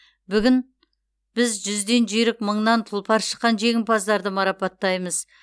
бүгін біз жүзден жүйрік мыңнан тұлпар шыққан жеңімпаздарды марапаттаймыз